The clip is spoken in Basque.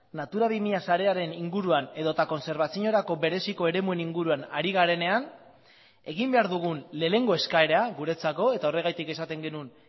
natura bi mila sarearen inguruan edota kontserbaziorako bereziko eremuen inguruan ari garenean egin behar dugun lehenengo eskaera guretzako eta horregatik esaten genuen